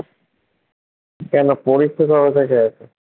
কেনো পরীক্ষা কবে থেকে আছে?